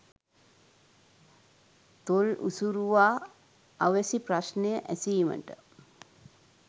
තොල් උසුරුවා අවැසි ප්‍රශ්නය ඇසීමට